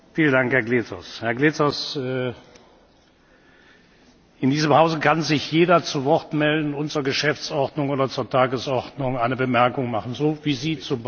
Herr Glezos! In diesem Hause kann sich jeder zu Wort melden und zur Geschäftsordnung oder zur Tagesordnung eine Bemerkung machen, so wie Sie zum Beispiel gerade.